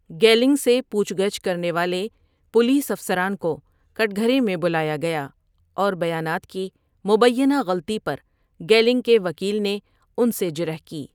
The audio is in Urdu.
گیلنگ سے پوچھ گچھ کرنے والے پولیس افسران کو کٹگھرے میں بلایا گیا اور بیانات کی مبینہ غلطی پر گیلنگ کے وکیل نے ان سے جرح کی۔